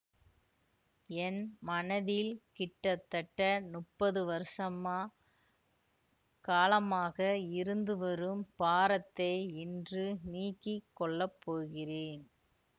என் மனதில் கிட்டத்தட்ட முப்பது வருஷமா காலமாக இருந்து வரும் பாரத்தை இன்று நீக்கி கொள்ள போகிறேன்